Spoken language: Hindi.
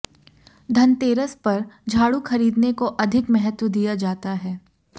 धनतेरस पर झाडू खरीदने को अधिक महत्व दिया जाता है